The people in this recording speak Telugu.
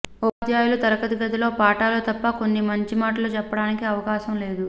ఉపాధ్యాయులు తరగతి గదిలో పాఠాలు తప్ప కొన్ని మంచి మాటలు చెప్పడానికి అవకాశం లేదు